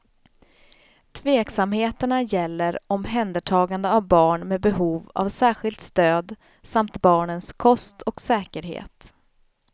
Tveksamheterna gäller omhändertagande av barn med behov av särskilt stöd samt barnens kost och säkerhet.